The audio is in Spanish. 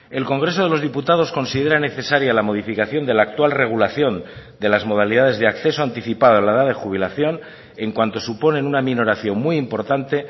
el congreso de los diputados considera necesaria la modificación de la actual regulación de las modalidades de acceso anticipada a la edad de jubilación en cuanto suponen una minoración muy importante